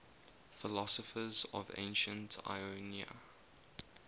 philosophers of ancient ionia